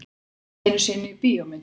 Ekki einu sinni í bíómyndum.